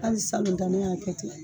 Ali salon ta ne y'a kɛ ten